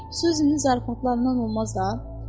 Suzynin zarafatlarından olmaz da.